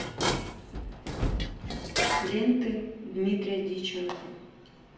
ленты дмитрия диченко